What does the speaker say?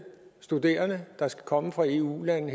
studerende der skal komme fra eu lande